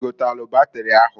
I gotalụ batịrị ahụ?